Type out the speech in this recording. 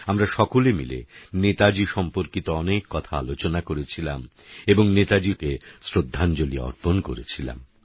আমরা সকলে মিলে নেতাজী সম্পর্কিত অনেক কথা আলোচনা করেছিলাম এবং নেতাজী সুভাষ বসুকে শ্রদ্ধাঞ্জলি অর্পণ করেছিলাম